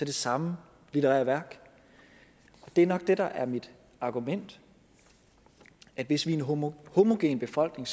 det samme litterære værk det er nok det der er mit argument hvis vi er en homogen befolkning